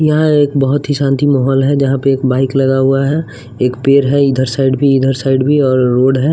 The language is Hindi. यहां एक बहुत ही शांति माहौल है यहां पे एक बाइक लगा हुआ है एक पेड़ है इधर साइड भी इधर साइड भी और रोड है।